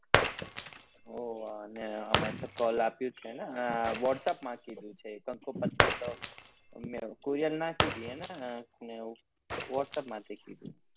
અને અમાર તો call આપ્યું છે ને whatsapp માં કીધું છે અમને courier નાખી દઈએ ને ને એ whatsapp માં થી કીધું